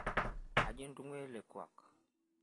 kaji intung'ua ele kuak